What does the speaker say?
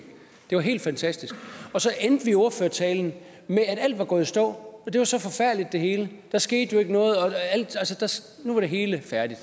det var helt fantastisk og så endte ordførertalen med at alt var gået i stå og det var så forfærdeligt det hele der skete jo ikke noget og nu var det hele færdigt